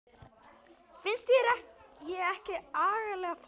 Finnst þér ég ekki agalega forvitin?